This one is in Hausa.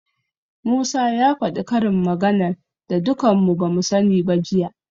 Musa ya faɗi karin maganar da dukan mu bamu sani ba jiya.